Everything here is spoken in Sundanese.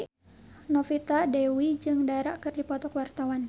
Novita Dewi jeung Dara keur dipoto ku wartawan